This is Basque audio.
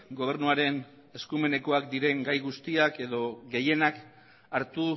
gobernuaren eskumenekoak diren gai guztiak edo gehienak hartu